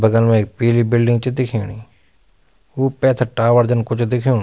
बगल मा एक पीली बिल्डिंग च दिखेणि ऊ पैथर टावर जन कुछ दिखेणु।